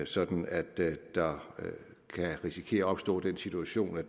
sådan at der kan risikere at opstå den situation at